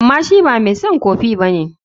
Amma shi ba mai son kofi ba ne.